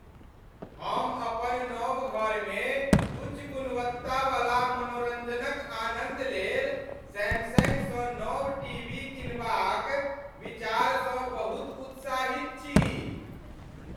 हम अपन नव घरमे उच्च गुणवत्तावला मनोरंजनक आनन्द लेल सैमसंगसँ नव टीवी किनबाक विचारसँ बहुत उत्साहित छी।